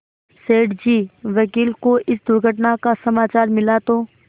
सेठ जी वकील को इस दुर्घटना का समाचार मिला तो